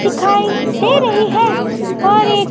दिखाई दे रही है और एक--